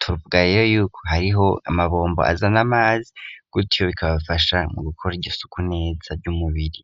torpgarero yuko hariho amabombo aza n' mazi gutyo bikabafasha mu gukora igisuku neza ry'umubiri.